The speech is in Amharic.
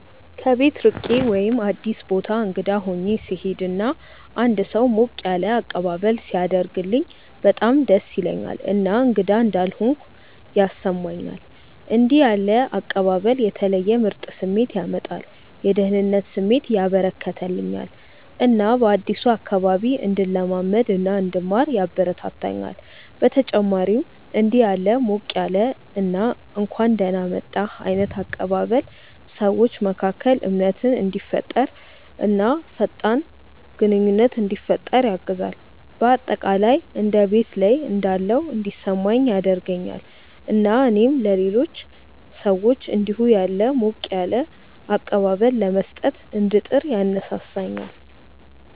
ከቤት ርቄ ወይም አዲስ ቦታ እንግዳ ሆኜ ስሄድ እና አንድ ሰው ሞቅ ያለ አቀባበል ሲያደርግልኝ በጣም ደስ ይለኛል እና እንግዳ እንዳልሆንኩ ያስሰማኛል። እንደዚህ ያለ አቀባበል የተለየ ምርጥ ስሜት ያመጣል፤ የደህንነት ስሜት ያበረከተልኛል እና በአዲሱ አካባቢ እንድለማመድ እና እንድማር ያበረታታኛል። በተጨማሪም እንዲህ ያለ ሞቅ ያለ እና እንኳን ደህና መጣህ ዓይነት አቀባበል ሰዎች መካከል እምነትን እንዲፈጠር እና ፈጣን ግንኙነት እንዲፈጠር ያግዛል። በአጠቃላይ እንደ ቤት ላይ እንዳለሁ እንዲሰማኝ ያደርገኛል እና እኔም ለሌሎች ሰዎች እንዲሁ ያለ ሞቅ ያለ አቀባበል ለመስጠት እንድጥር ያነሳሳኛል።